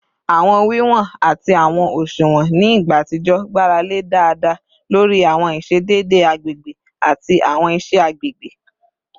Awọn wiwọn ati awọn òṣuwọn ni igba atijọ gbarale daada lori awọn iṣedede agbegbe ati awọn iṣe agbegbe